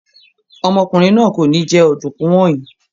Ọmọkùnrin náà kò ní jẹ ọ̀dùnkún wọ̀nyí.